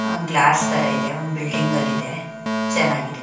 ಆಹ್ glass ತರಾ ಇದೆ ಒಂದ್ ಬಿಲ್ಡಿಂಗ್ ಅಲ್ ಇದೆ ಚೆನ್ನಾಗಿದೆ.